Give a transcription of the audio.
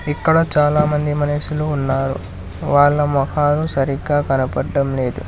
ఇక్కడ చాలామంది మనుషులు ఉన్నారు వాళ్ళ మొహాలు సరిగ్గా కనబడటం లేదు.